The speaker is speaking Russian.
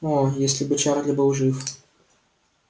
оо если бы чарли был жив